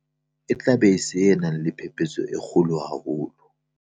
E tla ba se nang le phephetso e kgolo haholo.